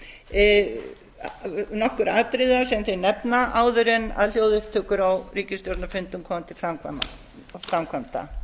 afstöðu til nokkurra atriða sem þeir nefna áður en hljóðupptökur á ríkisstjórnarfundum koma til framkvæmda